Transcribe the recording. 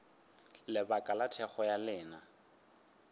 lebaka la thekgo ya lena